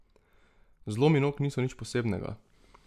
Zlomi nog niso nič posebnega.